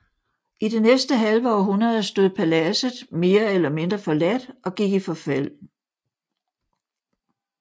I det næste halve århundrede stod paladset mere eller mindre forladt og gik i forfald